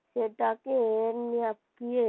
সেটাকে এমন্‌